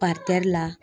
la